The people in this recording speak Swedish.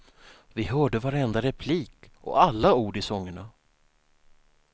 Vi hörde varenda replik och alla ord i sångerna.